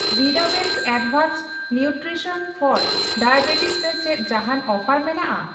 ᱣᱤᱰᱟᱣᱮᱱᱥ advanced nutrition for diabetes ᱨᱮ ᱪᱮᱫ ᱡᱟᱦᱟᱸᱱ ᱚᱯᱷᱟᱨ ᱢᱮᱱᱟᱜᱼᱟ ?